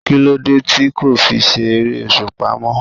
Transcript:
Kí ló dé tí kò fi sí ère-òṣùpá mó?